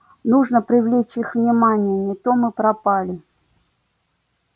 нужно привлечь их внимание не то мы пропали